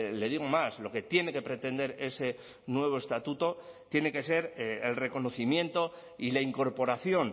le digo más lo que tiene que pretender ese nuevo estatuto tiene que ser el reconocimiento y la incorporación